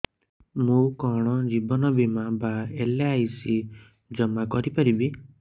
ମୁ କଣ ଜୀବନ ବୀମା ବା ଏଲ୍.ଆଇ.ସି ଜମା କରି ପାରିବି